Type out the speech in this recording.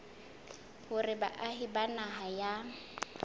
hore baahi ba naha ya